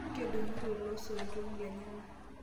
Kedung'ito loisoto lenyana.